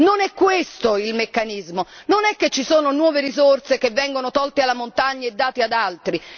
Non è questo il meccanismo, non è che ci sono nuove risorse che vengono tolte alla montagna e date ad altri.